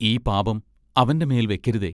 ഈ പാപം അവന്റെ മേൽ വെക്കരുതേ.